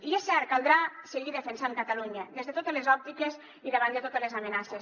i és cert caldrà seguir defensant catalunya des de totes les òptiques i davant de totes les amenaces